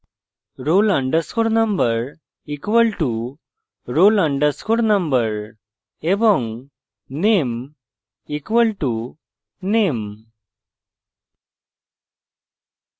roll _ number = roll _ number এবং name = name